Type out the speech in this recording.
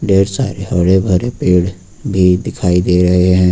ढेर सारे हरे भरे पेड़ भी दिखाई दे रहे हैं।